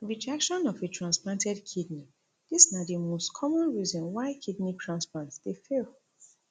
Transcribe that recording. rejection of a transplanted kidney dis na di most common reason why kidney transplants dey fail